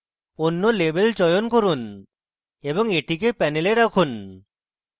অন্য label চয়ন করুন এবং এটিকে panel রাখুন